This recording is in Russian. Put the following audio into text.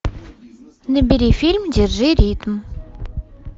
набери фильм держи ритм